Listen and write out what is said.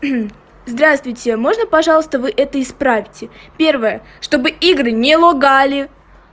здравствуйте можно пожалуйста вы это исправьте первое чтобы игры не лагали